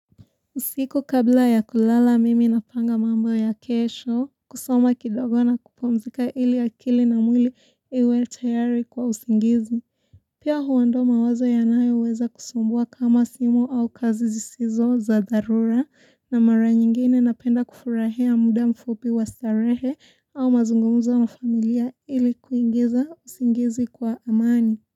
Usiku kabla ya kulala mimi na panga mambo ya kesho, kusoma kidogo na kupumzika ili akili na mwili iwe tayari kwa usingizi. Pia huondoa mawazo yanayo weza kusumbua kama simu au kazi zisizo za dharura na mara nyingine napenda kufurahia muda mfupi wa starehe au mazungumuzo na familia ili kuingiza usingizi kwa amani.